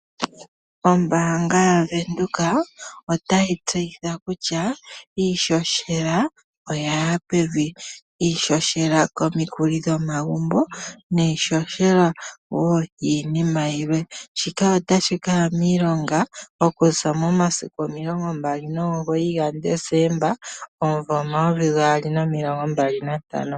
Ombaanga yaVenduka otayi tseyitha kutya iihohela oya ya pevi. Iihohela komikuli dhomagumbo, niihohela wo yiinima yimwe. Shika otashi kaya miilonga okuza momasiku omilongo mbali nomugoyi gaDesemba omuvo omayovi gaali nomilongo mbali nantano.